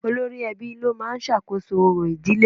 Olórí ẹbí ló máa ń sàkóso orò ìdílé